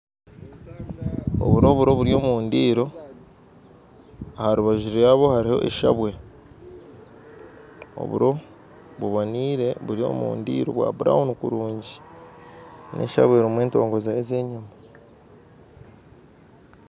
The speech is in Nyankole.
Oburo oburo buryo omundiro aharubajju ryabwe hariho eshabwe oburo bubonire buryo omundiro bwa' burawunu kurungyi neshabwe erimu entongo zayo zenyama